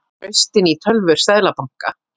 Braust inn í tölvur seðlabanka